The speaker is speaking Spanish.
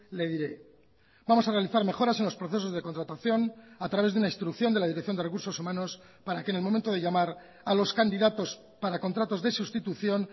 le diré vamos a realizar mejoras en los procesos de contratación a través de una instrucción de la dirección de recursos humanos para que en el momento de llamar a los candidatos para contratos de sustitución